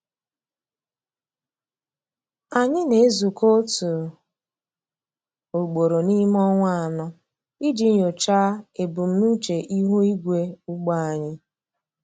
Anyị na-ezukọ otu ugboro n’ime ọnwa anọ iji nyochaa ebumnuche ihu igwe ugbo anyị.